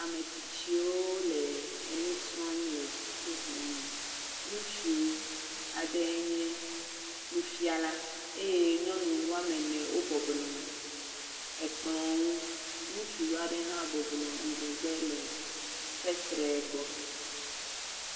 Ametsitsiwo le enu srɔ̃ le sukuxɔ me, ŋutsu aɖe nye nufiala eye nyɔnu woame ene wobɔbɔ nɔ ekplɔ ŋu, ŋutsu aɖe hã bɔbɔ nɔ ŋgɔgbe le fesre gbɔ.